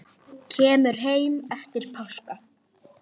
Kemur heim eftir páska.